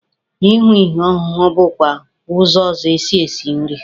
Ị hụ ihe ọhụhụ bụkwa ụzọ ọzọ e si esi nri.